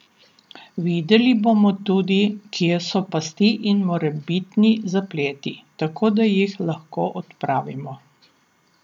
Videli bomo tudi, kje so pasti in morebitni zapleti, tako da jih lahko odpravimo.